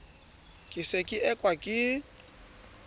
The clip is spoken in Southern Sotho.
ke se ke ekwa ke